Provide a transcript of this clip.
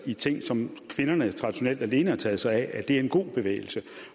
i ting som kvinderne traditionelt alene har taget sig af er en god bevægelse